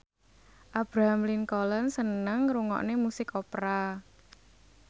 Abraham Lincoln seneng ngrungokne musik opera